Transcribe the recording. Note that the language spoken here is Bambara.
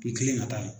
I kelen ka taa yen